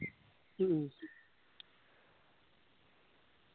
ഹ്മ്മ്